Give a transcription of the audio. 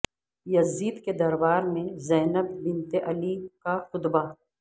یزید کے دربار میں زینب بنت علی کا خطبہ